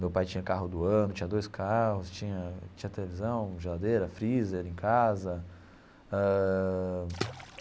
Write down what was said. Meu pai tinha carro do ano, tinha dois carros, tinha tinha televisão, geladeira, freezer em casa ãh.